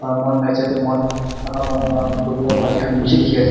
aro moikanla right side teh moikan naga manu laga kuri laga thali kan beshi teki ase.